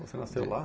Você nasceu lá?